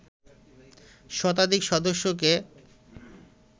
শতাধিক সদস্যকে